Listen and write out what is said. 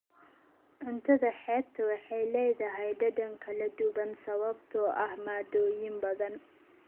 Cuntada xeebta waxay leedahay dhadhan kala duwan sababtoo ah maaddooyin badan.